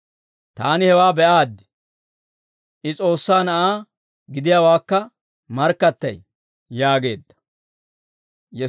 Taani hewaa be'aaddi; I S'oossaa Na'aa gidiyaawaakka markkattay» yaageedda.